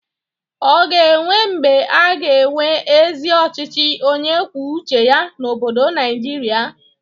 Ọ ga-enwe mgbe a ga-enwe ezi ọchịchị onye kwue uche ya n'obodo Naịjịrịa?